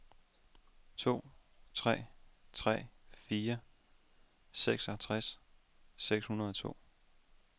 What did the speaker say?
to tre tre fire seksogtres seks hundrede og to